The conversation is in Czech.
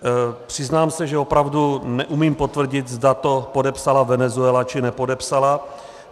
Přiznám se, že opravdu neumím potvrdit, zda to podepsala Venezuela, či nepodepsala.